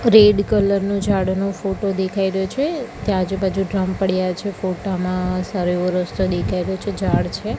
Red colour નો જાડ નો ફોટો દેખાય રહ્યો છે ત્યાં આજુબાજુ ડ્રમ પડ્યા છે ફોટા માં સારો એવો રસ્તો દેખાય રહ્યો છે જાડ છે.